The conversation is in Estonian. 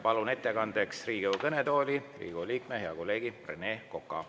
Palun ettekandeks Riigikogu kõnetooli Riigikogu liikme, hea kolleegi Rene Koka.